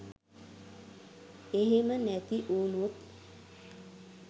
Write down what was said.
එහෙම නැතිවුනොත්